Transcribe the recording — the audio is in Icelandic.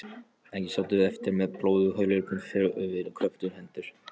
Ekki sátum við eftir með blóðhlaupin för eftir kröftugar hendur.